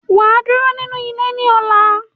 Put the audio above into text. Waa duro ninu ile ni ola.